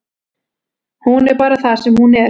Hún er bara það sem hún er.